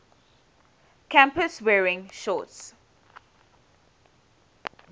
campus wearing shorts